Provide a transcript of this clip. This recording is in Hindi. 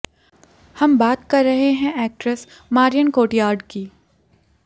हम बात कर रहे हैं एक्ट्रेस मारियन कोटियार्ड की